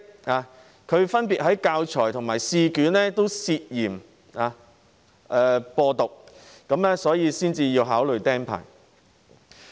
他分別在教材及試卷上涉嫌"播獨"，所以才會被考慮"釘牌"。